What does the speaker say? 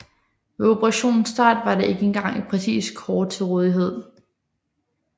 Ved operationens start var der ikke engang et præcist kort til rådighed